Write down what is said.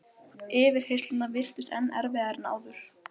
Ef útgefandanum finnst þær nógu góðar, þá eru þær það.